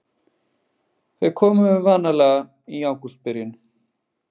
Þau komu vanalega í ágústbyrjun.